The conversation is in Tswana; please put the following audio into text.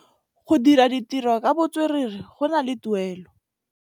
Go dira ditirô ka botswerere go na le tuelô.